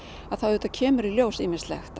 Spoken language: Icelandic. þá auðvitað kemur í ljós ýmislegt